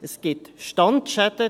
Es gibt Standschäden.